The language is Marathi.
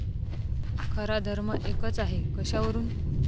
खरा धर्म एकच आहे कशावरून?